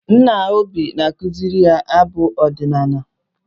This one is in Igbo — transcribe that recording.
Nna Obi na-akụziri ya abụ ọdịnala.